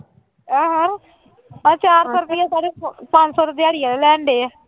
ਆਹੋ ਆਹ ਚਾਰ ਸੌ ਰੁਪਇਆ ਸਾਡੇ ਪੰਜ ਸੌ ਤਾਂ ਦਿਹਾੜੀ ਵਾਲੇ ਲੈਂਦੇ ਹੈ